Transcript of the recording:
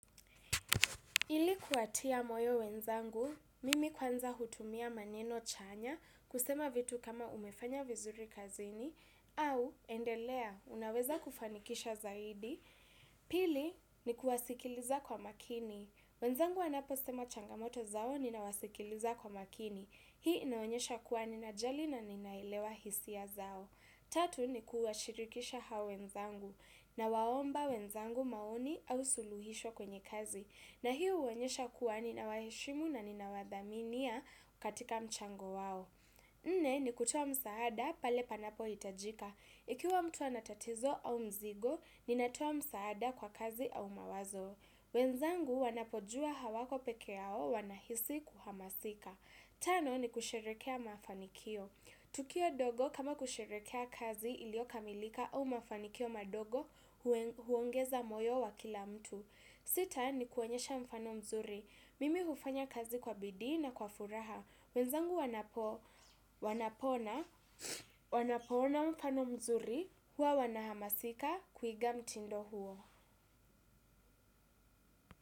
Ili kuwatia moyo wenzangu, mimi kwanza hutumia maneno chanya, kusema vitu kama umefanya vizuri kazini au endelea unaweza kufanikisha zaidi. Pili ni kuwasikiliza kwa makini. Wenzangu wanapo sema changamoto zao ninawasikiliza kwa makini. Hii inaonyesha kuwa ninajali naninaelewa hisia zao. Tatu, nikuwashirikisha hao wenzangu. N waomba wenzangu maoni au suluhisho kwenye kazi. Na hiyo huonyesha kuwa ninawaheshimu na ninawadhaminia katika mchango wao. Nne, ni kutoa msaada pale panapohitajika. Ikiwa mtu ana tatizo au mzigo, ninatoa msaada kwa kazi au mawazo. Wenzangu wanapojua hawako peke yao, wanahisi kuhamasika. Tano, ni kusherekea mafanikio. Tukio dogo kama kusherekea kazi ilio kamilika au mafanikio madogo, huongeza moyo wa kila mtu. Sita, ni kuonyesha mfano mzuri. Mimi hufanya kazi kwa bidii na kwa furaha. Wenzangu wanapo ona mfano mzuri, huwa wanahamasika kuiga mtindo huo.